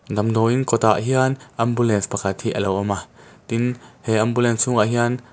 damdawiin kawt ah hian ambulance pakhat hi alo awm a tin he ambulance chhung ah hian--